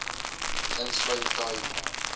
insluit khai ma